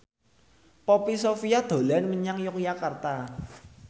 Poppy Sovia dolan menyang Yogyakarta